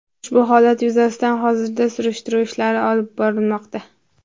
Ushbu holat yuzasidan hozirda surishtiruv ishlari olib borilmoqda.